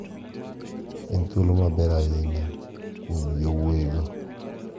En thuolo maber ahinya kuom yowuoyi go.